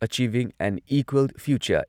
achieving and equal future